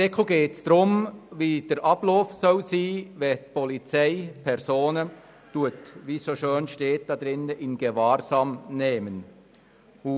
Im Artikel geht es darum, wie der Ablauf aussehen soll, wenn die Polizei Personen «in Gewahrsam nimmt», wie es so schön heisst.